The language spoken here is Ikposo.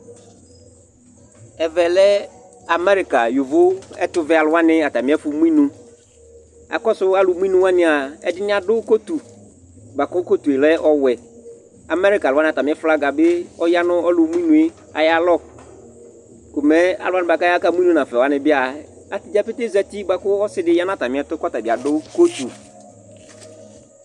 Ɛvɛ lɛ amerikayovoɛtuvɛ aluwani atami ɛfu mu inu Akɔsu alumuinuwania ɛdini adu kotu buaku kotu yɛ lɛ ɔwɛ Amerika aluwani atami flaga bi ɔya nu ɔlumuinu yɛ ayalɔ Ko mɛ aluwani buaku aya akamuinu nafa bia atadza pete za uti buaku ɔsi di ya nu atami ɛtu buaku ɔtabi adu kotu